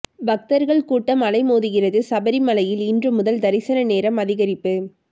பக்தர்கள் கூட்டம் அலைமோதுகிறது சபரிமலையில் இன்று முதல் தரிசன நேரம் அதிகரிப்பு